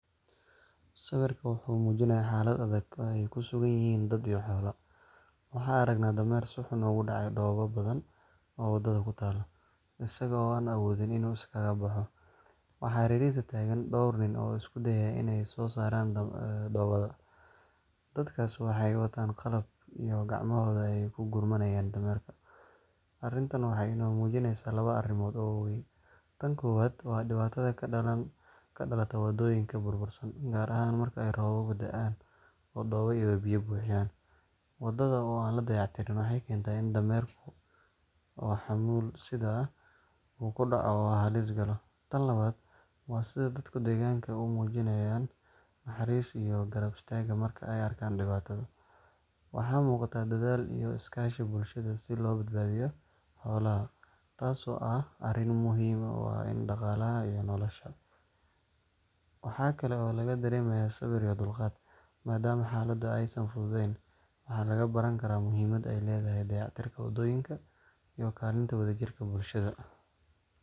Sawirkan wuxuu muujinayaa xaalad adag oo ay ku suganyihiin dad iyo xoolo. Waxaan aragnaa dameer si xun ugu dhacay dhoobo badan oo wadada ku taalla, isagoo aan awoodin inuu iskaga baxo. Waxaa hareerihiisa taagan dhowr nin oo isku dayaya inay ka soo saaraan dhoobada. Dadkaasi waxay wataan qalab iyo gacmohooda ay ku gurmanayaan dameerka. Arrintani waxay inoo muujinaysaa laba arrimood oo waaweyn. Tan koowaad waa dhibaatada ka dhalata wadooyinka burbursan, gaar ahaan marka ay roobab da’aan oo dhoobo iyo biyo buuxiyaan. Wadadan oo aan la dayactirin waxay keentay in dameerku, oo xamuul sida, uu ku dhaco oo halis galo. Tan labaadna waa sida dadka deegaanka u muujiyaan naxariis iyo garab istaag marka ay arkaan dhibaato. Waxaa muuqata dadaalka iyo is kaashiga bulshada si loo badbaadiyo xoolaha, taasoo ah arrin muhiim u ah dhaqaalaha iyo noloshooda. Waxa kale oo laga dareemayaa sabir iyo dulqaad, maadaama xaaladdu aysan fududayn. Waxaa laga baran karaa muhiimada ay leedahay dayactirka wadooyinka iyo kaalinta wadajirka bulshada.